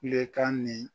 Kulekan ni